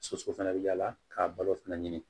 Soso fana bɛ yaala k'a balo fɛnɛ ɲini